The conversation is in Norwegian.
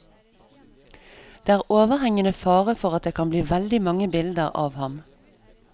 Det er overhengende fare for at det kan bli veldig mange bilder av ham.